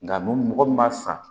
Nka mɔgɔ min b'a san